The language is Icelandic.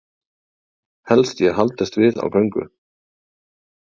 Helst ég haldist við á göngu.